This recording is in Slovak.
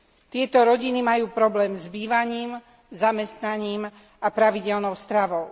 Tieto rodiny majú problém s bývaním, zamestnaním a pravidelnou stravou.